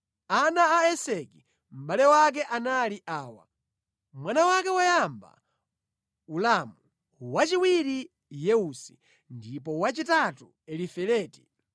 Ana a Eseki mʼbale wake anali awa: Mwana wake woyamba Ulamu, wachiwiri Yeusi ndipo wachitatu Elifeleti.